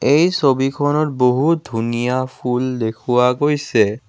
এই ছবিখনত বহুত ধুনীয়া ফুল দেখুওৱা গৈছে।